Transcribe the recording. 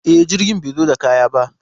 E, jirgin bai zo da kaya ba.